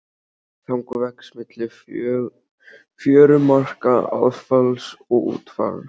Þang vex milli fjörumarka aðfalls og útfalls.